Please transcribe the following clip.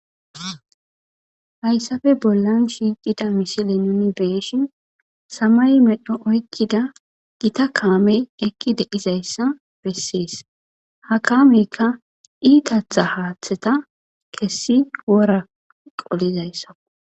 hayssafe bollan shiicida misile nuni beeshin samay medho oykkida gita kaamey ekki deizayssa bessees ha kaameykka iitatha haaththeta kessi wora qolizayssaw